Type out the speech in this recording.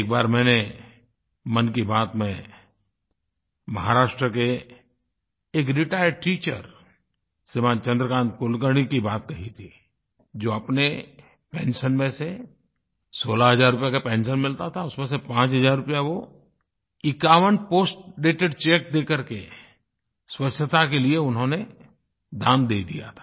एक बार मैंने मन की बात में महाराष्ट्र के एक रिटायर्ड टीचर श्रीमान् चन्द्रकान्त कुलकर्णी की बात कही थी जो अपने पेंशन में से सोलह हज़ार रूपये का पेंशन मिलता था उसमें से पाँच हज़ार रुपया वो 51 पोस्टडेटेड चेक देकर के स्वच्छता के लिये उन्होंने दान दे दिया था